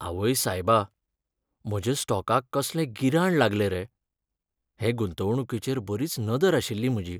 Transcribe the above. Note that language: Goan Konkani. आवय सायबा, म्हज्या स्टॉकाक कसलें गिराण लागलें रे? हे गुंतवणूकीचेर बरीच नदर आशिल्ली म्हजी.